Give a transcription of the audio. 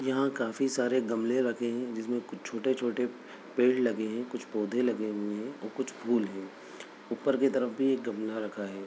यहाँ काफी सारे गमले रखे हैं जिसमें कु-- छोटे-छोटे पेड़ लगे हैं कुछ पौध लगे हुए हैं और कुछ फूल है ऊपर की तरफ भी एक गमला रखा है।